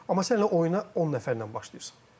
Amma sən elə oyuna 10 nəfərlə başlayırsan.